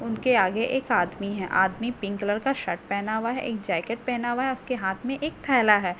उनके आगे एक आदमी है आदमी पिंक कलर का शर्ट पहना हुआ है एक जैकेट पहना हुआ है उसके हाथ में एक थैला है।